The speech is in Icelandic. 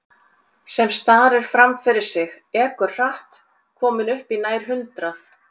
Sem starir fram fyrir sig, ekur hratt, komin upp í nær hundrað.